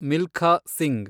Milkha Singh